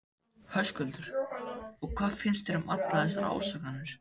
Höskuldur: Og hvað finnst þér um allar þessar ásakanir?